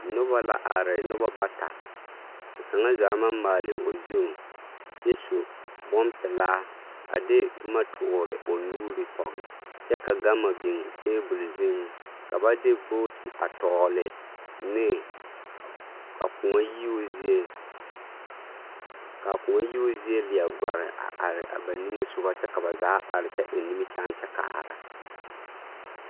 Nobɔ la are nobɔ bata ka kaŋa zaa maŋ maali o zu kyɛ su bonpelaa a de boma toore o nuuri pɔge kyɛ ka gama biŋ tebol zuiŋ ka ba de booti a tɔɔli ne a koɔ yiio zie kaa koɔ yiio zie leɛ gɔre a are ba niŋesogɔ kyɛ ka ba zaa are kyɛ eŋ nimikyaan kyɛ kaara.